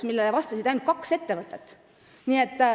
Sellele vastas ainult kaks ettevõtet.